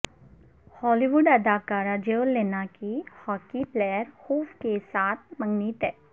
ہالی ووڈ اداکارہ جیو لیننا کی ہاکی پلیئر ہوف کیساتھ منگنی طے